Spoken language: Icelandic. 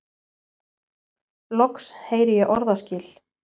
Loks heyri ég orðaskil.